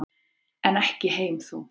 En ekki heim þó.